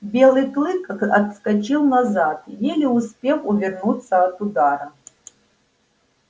белый клык отскочил назад еле успев увернуться от удара